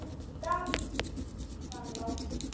Davíð var látinn.